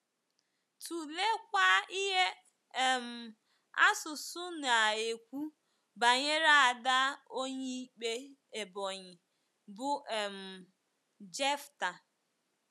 Tụleekwa ihe um asusụ na - ekwu banyere ada Onyeikpe Ebonyi bụ́ um Jefta.